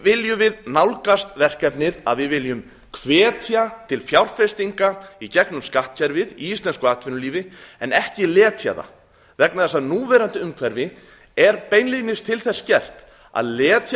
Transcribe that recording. viljum við nálgast verkefnið að við viljum hvetja til fjárfestinga í gegnum skattkerfið í íslensku atvinnulífi en ekki letja það vegna þess að núverandi umhverfi er beinlínis til þess gert að letja